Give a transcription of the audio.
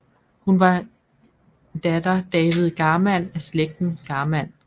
Hun var datter David Garmann af slægten Garmann